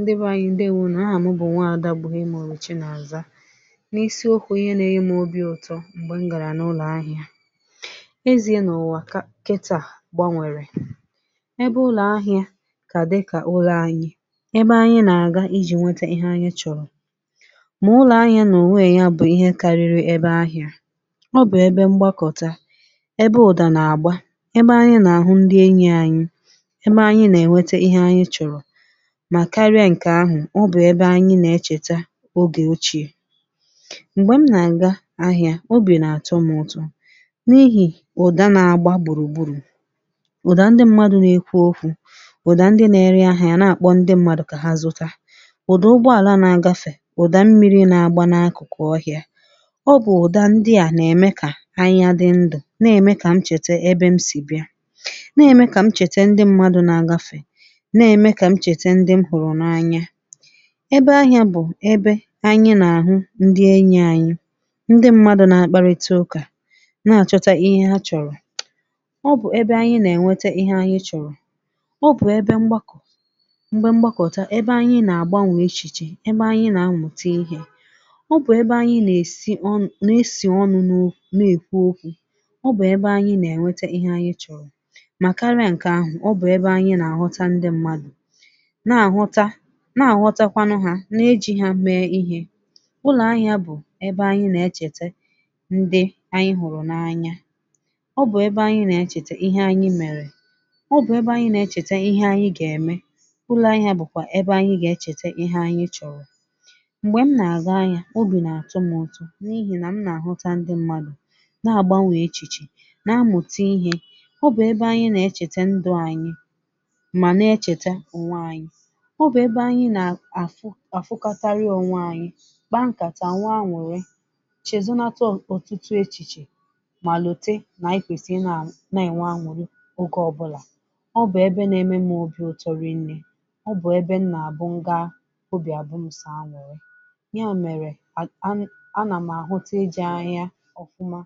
Ndi be anyị̀ ndeèwò nù, aha m bụ̀ Nwa Ada Bùhiemuche Chinàza, n’isi okwu ihe na-enye m ime obi̇ ụtọ̇ bụ̀ m̀gbè m gàrà n’ụlọ̀ ahị̇ȧ, eziè nà ụ̀wa ugbua gbanwèrè ebe ụlọ̀ ahị̇ȧ yà kà dí kà ụlọ̀ anyị̇ ebe anyị̇ nà-àga ijì nwète ihe anyị̇ chọ̀rọ̀, mà ụlọ̀ ahị̇ȧ nà ònwe èya bụ̀ ihe karịrị ebe ahị̇ȧ ọ bụ̀ ebe mgbakọtà, ebe ụ̀dà nà-àgba, ebe anyị̇ nà-àhụ̀ ndị enyi̇ anyị̇, ebe anyị̇ nà-ènwete ihe anyị̇ chọ̀rọ̀, ma karịa nke ahụ ọ bụ̀ ebe anyị̇ nà-echeta ogè ochìè, m̀gbè m nà-àga ahị̇ȧ obì nà-àtọ̇ m ụ̀tọ̇ n’ihì ụ̀dà nà-àgba gburugbùrù, ụ̀dà ndị mmadụ̇ nà-àkụ̀zị̀ okwu̇, ụ̀dà ndị na-ere ahị̇ȧ yà nà-àkpọ ndị mmadụ̇ kà hà zụta, ụ̀dà ụgbọàla nà-àgafè, ụ̀dà mmi̇ri̇ nà-àgba n’akụ̀kụ̀ ọhị̇ȧ, ọ bụ̀ ụ̀dà ndị à nà-ème kà ahị̇ȧ dị ndụ̀ nà-ème kà m chète ebe m sì bịa, nà-ème kà m chète ndị mmadụ̇ nà-àgafè, nà-èmekwa kà m chète ndị m hụrụ̀ n’anya, ebe ahị̇ȧ bụ̀ ebe anyị̇ nà-àhụ̀ ndị enyi̇ anyị̇, ndị mmadụ̇ nà-akparịta ụ̀kà nà-àchọta ihe hà chọ̀rọ̀, ọ bụ̀ ebe anyị̇ nà-ènwete ihe anyị̇ chọ̀rọ̀, ọ bụ̀ ebe mgbakọ̀ mgbákọ̀ta ebe anyị̇ nà-àgbanwè echìchè, ebe anyị̇ nà-àmụ̀ mụ̀te ihe, ọ bụ̀ ebe anyị̇ nà-èsi ọnụ̇ nà-èsi ọnụ̇ nọ nèkwu okwu̇, ọ bụ̀ ebe anyị̇ nà-ènwete ihe anyị̇ chọ̀rọ̀, mà karịa ǹkè ahụ̀ ọ bụ̀ ebe anyị̇ nà-àghọta ndị mmadụ̇ nà-àghọtakwanụ hà n’eji̇ hà mee ihe, ụlọ̀ ahị̇ȧ bụ̀ ebe anyị̇ nà-echeta ndị anyị̇ hụ̀rụ̀ n’anya, ọ bụ̀ ebe anyị̇ nà-echeta ihe anyị̇ mèrè, ọ bụ̀ ebe anyị̇ nà-echeta ihe anyị̇ gà-ème, ụlọ̇ anyị̇ bụ̀kwa ebe anyị̇ gà-echeta ihe anyị̇ chọ̀rọ̀, m̀gbè m nà-àga ahị̇ȧ obì nà-àtụ̇ m ụ̀tọ̇ n’ihì nà m nà-àhụ̀tà ndị mmadụ̇ nà-àgbanwè echìchè nà-àmụ̀ta ihe, ọ bụ̀ ebe anyị̇ nà-echeta ndụ̇ anyị̇ mà nà-echeta onwe anyị̇, ọ bụ̀ ebe anyị̇ nà-àfụkọtarị onwe anyị̇, kpa nkàtà, nwee añụ̀rị̇, chèzòo nà tèta ọtụtụ echìchè mà lọ̀tè nà ikwèsì ị̀nà-ènwe añụ̀rị̇ ogè ọbụla, ọ bụ̀ ebe nà-ème m obi̇ ụ̀tọ̇ n’eziokwu̇, ọ bụ̀ ebe m nà-àbụ̀ ngàá obì àbụ̀ m sọ añụ̀rị̇, yà mèrè ùmù à nà m àhụ̀tà ìjè ahị̇ȧ ọ̀fụ̀ma,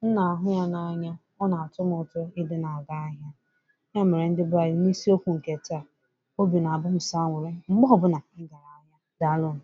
m nà-àhụ̀ yà n’anya, ọ nà-àtọ̇ m ụ̀tọ̇ ì dị nà-àga ahị̇ȧ, yà mèrè, ndi be anyị̇, n’isi okwu̇ nke taa — obì nà-àbụ̀ m sọ añụ̀rị̇ mgbe ọbụla, dàalụ̀ nù.